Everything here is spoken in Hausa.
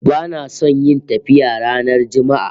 Bana son yin tafiya ranar Juma'a